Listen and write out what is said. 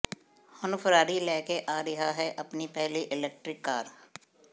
ਹੁਣ ਫਰਾਰੀ ਲੈ ਕੇ ਆ ਰਿਹਾ ਹੈ ਆਪਣੀ ਪਹਿਲੀ ਇਲੈਕਟ੍ਰਿਕ ਕਾਰ